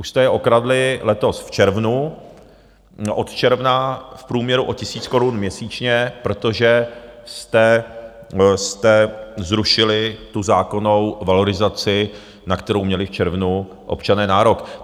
Už jste je okradli letos v červnu - od června v průměru o tisíc korun měsíčně, protože jste zrušili tu zákonnou valorizaci, na kterou měli v červnu občané nárok.